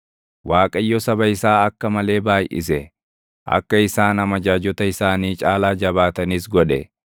Waaqayyo saba isaa akka malee baayʼise; akka isaan amajaajota isaanii caalaa jabaatanis godhe;